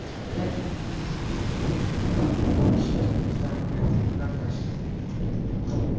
блять что-то пиздец какой вообще местами не контачит